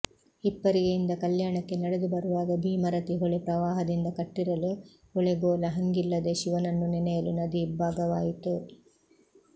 ಹಿಪ್ಪರಿಗೆಯಿಂದ ಕಲ್ಯಾಣಕ್ಕೆ ನಡೆದು ಬರುವಾಗ ಭೀಮರತಿ ಹೊಳೆ ಪ್ರವಾಹದಿಂದ ಕಟ್ಟಿರಲು ಹೊಳೆಗೋಲ ಹಂಗಿಲ್ಲದೆ ಶಿವನನ್ನು ನೆನೆಯಲು ನದಿ ಇಬ್ಬಾಗವಾಯಿತು